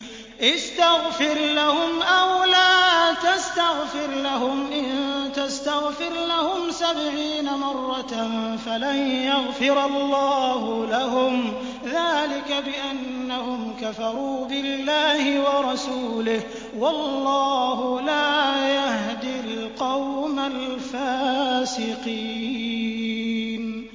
اسْتَغْفِرْ لَهُمْ أَوْ لَا تَسْتَغْفِرْ لَهُمْ إِن تَسْتَغْفِرْ لَهُمْ سَبْعِينَ مَرَّةً فَلَن يَغْفِرَ اللَّهُ لَهُمْ ۚ ذَٰلِكَ بِأَنَّهُمْ كَفَرُوا بِاللَّهِ وَرَسُولِهِ ۗ وَاللَّهُ لَا يَهْدِي الْقَوْمَ الْفَاسِقِينَ